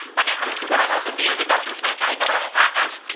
અને હવે શુ કરવામા આવ્શે bio વિકાસ યોજના હેઠળે કરવામા આવશે.